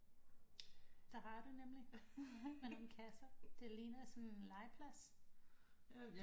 Det har du nemlig med nogle kasser det ligner sådan en legeplads